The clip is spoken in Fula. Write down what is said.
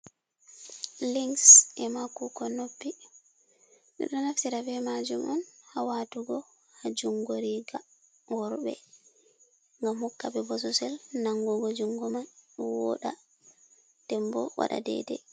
Lynks e ma kukon noppi, ɓedo naftira be majum on ha watugo ha jungo riga worɓe e gam hokkaɓe bososel nangugo jungo man woɗa dembo wada dedei.